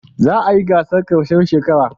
Za a yi gasar ƙarshen shekara.